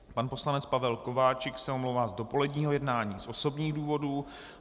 Pan poslanec Pavel Kováčik se omlouvá z dopoledního jednání z osobních důvodů.